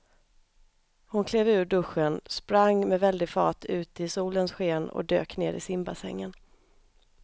Hon klev ur duschen, sprang med väldig fart ut i solens sken och dök ner i simbassängen.